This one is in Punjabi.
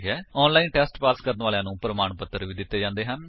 ਆਨਲਾਇਨ ਟੇਸਟ ਪਾਸ ਕਰਨ ਵਾਲਿਆਂ ਨੂੰ ਪ੍ਰਮਾਣ ਪੱਤਰ ਵੀ ਦਿੰਦੇ ਹਨ